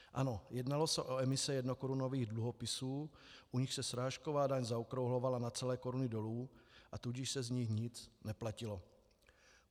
Ano, jednalo se o emise jednokorunových dluhopisů, u nichž se srážková daň zaokrouhlovala na celé koruny dolů, a tudíž se z nich nic neplatilo.